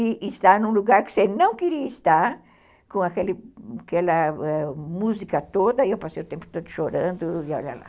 E estar num lugar que você não queria estar, com aquele, aquela música toda, e eu passei o tempo todo chorando, e olha lá.